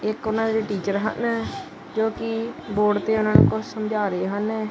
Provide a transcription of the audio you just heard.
ਇੱਕ ਓਹਨਾਂ ਦੇ ਜਿਹੜੇ ਟੀਚਰ ਹਨ ਜੋਕਿ ਬੋਰਡ ਤੇ ਓਹਨਾਂ ਨੂੰ ਕੁਝ ਸਮਝਾ ਰਹੇ ਹਨ।